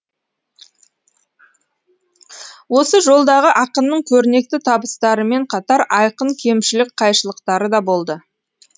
осы жолдағы ақынның көрнекті табыстарымен қатар айқын кемшілік қайшылықтары да болды